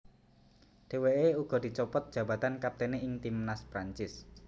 Dheweke uga dicopot jabatan kaptene ing timnas Prancis